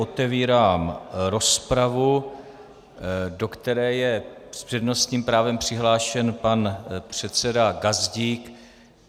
Otevírám rozpravu, do které je s přednostním právem přihlášen pan předseda Gazdík.